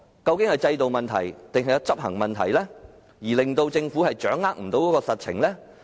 究竟是制度問題，還是執行問題令政府掌握不到實情？